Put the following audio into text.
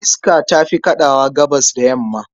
Iska ta fi kaɗawa Gabasr da damina.